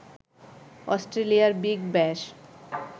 অস্ট্রেলিয়ার বিগ ব্যাশ